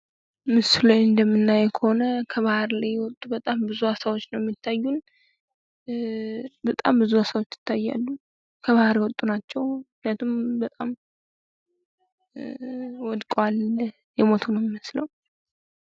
ምስሉ ላይ እንደምናየው ከሆነ ከባህር ላይ የወጡ ብዙ አሳዎች ነው ሚታዩን። በጣም ብዙ አሳዎች ይታያሉ ፤ ከባህር የወጡ ናቸው ምክንያቱም በጣም ወድቀዋል፤ የሞቱ ነው ሚመስለው።